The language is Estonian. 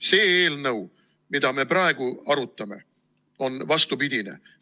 See eelnõu, mida me praegu arutame, on vastupidine.